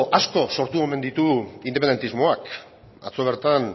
asko sortu omen ditu independentismoak atzo bertan